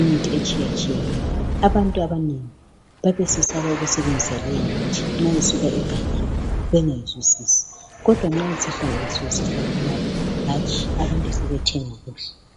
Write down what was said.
imithi etshiyetshiyeneyo. Abantu abanengi babesesaba ukusebenzisa leyi mithi nxa isuka egangeni bengayizwisisi. Kodwa nxa sihlanganisiwe sifakwe lapha, hatshi abantu sebethenga kuhle.